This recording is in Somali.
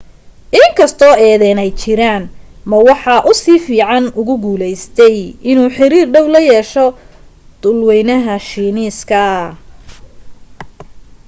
in kastoo eedaym ay jiraan ma waxa uu si fiican ugu guulaystay inuu xiriir dhow la yeesho dhulwaynaha shiineeska